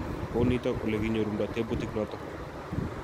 Kou nitok ulekinyorunda tebutiet notok.